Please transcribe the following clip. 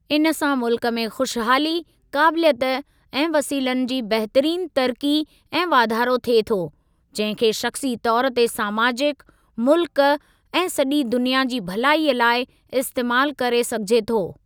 इन सां मुल्क में खुशहाली, काबिलियत ऐं वसीलनि जी बहितरीन तरक़ी ऐं वाधारो थिए थो, जंहिं खे शख़्सी तौर ते समाजिक, मुल्क ऐं सॼी दुनिया जी भलाईअ लाइ इस्तेमालु करे सघिजे थो।